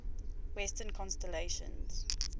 western constellations